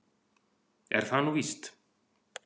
Er það nú víst?